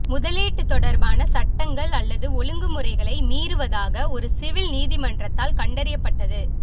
முதலீட்டு தொடர்பான சட்டங்கள் அல்லது ஒழுங்குமுறைகளை மீறுவதாக ஒரு சிவில் நீதிமன்றத்தால் கண்டறியப்பட்டது